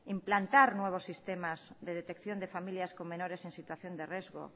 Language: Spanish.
implantar nuevos sistemas de detección de familias con menores en situación de riesgo